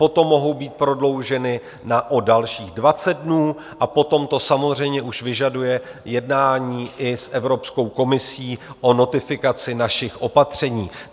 Potom mohou být prodlouženy o dalších 20 dnů a potom to samozřejmě už vyžaduje jednání i s Evropskou komisí o notifikaci našich opatření.